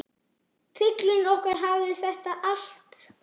Fuglinn okkar hafði þetta allt.